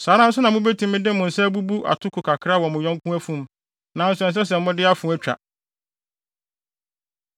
Saa ara na mubetumi de mo nsa abubu atoko kakra wɔ mo yɔnko afum, nanso ɛnsɛ sɛ mode afoa twa.